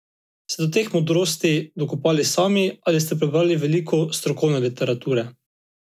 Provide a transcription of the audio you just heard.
Ste se do teh modrosti dokopali sami ali ste prebrali veliko strokovne literature?